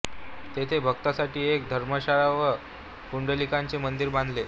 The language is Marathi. तेथे भक्तांसाठी एक धर्मशाळा व पुंडलिकाचे मंदिर बांधले